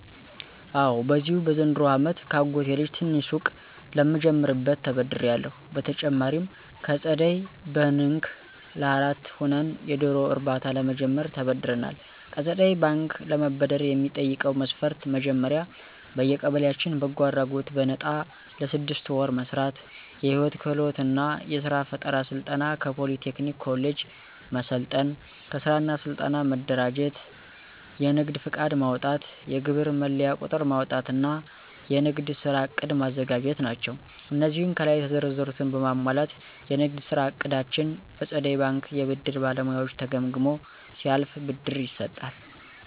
አወ በዚሁ በዘንድሮው አመት ከአጎቴ ልጅ ትንሽ ሱቅ ለምጀምርበት ተበድሬአለሁ። በተጨማሪም ከፀደይ በንክ ለአራት ሆነን የዶሮ እርባታ ለመጀመር ተበድረናል። ከፀደይ ባንክ ለመበደር የሚጠይቀው መስፈርት መጀመሪያ በየቀበሌያችን በጎ አድራጎት በነጣ ለስድስት ወር መስራት፣ የህይወት ክህሎት እና የስራ ፈጠራ ስልጠና ከፖሊ ቴክኒክ ኮሌጅ መሰልጠን፣ ከስራ እና ስልጠና መደራጀት፣ የንግድ ፍቃድ ማውጣት፣ የግብር መለያ ቁጥር ማውጣት እና የንግድ ስራ ዕቅድ ማዘጋጀት ናቸው። አነዚህን ከላይ የተዘረዘሩትን በማሟላት የንግድ ስራ እቅዳችን በፀደይ ባንክ የብድር ባለሙያዎች ተገምግሞ ሲያልፍ ብድር ይሰጣል።